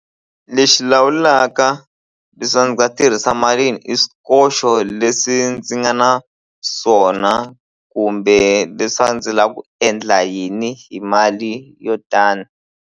Lexi lawulaka leswaku ndzi nga tirhisa mali yini i swikoxo leswi ndzi nga na swona kumbe leswi a ndzi la ku endla yini hi mali yo tani.